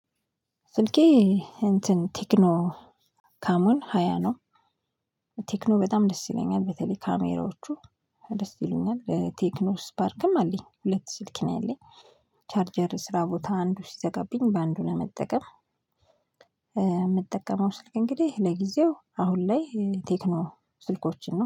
ስልኬ እንትን ቴክኖ ካሞን ሃያ ነው። ቴክኖ በጣም ደስ ይለኛል በተለይ ካሜራዎቹ ደስ ይሉኛል። ቴክኖ ስፓርክም አለኝ ሁለት ስልክ ነው ያለኝ። ቻርጀር ስራ ቦታ አንዱ ሲዘጋብኝ ባንዱ ለመጠቀም። የምጠቀመው ስልክ እንግዲህ ለጊዜው አሁን ላይ ቴክኖ ስልኮችን ነው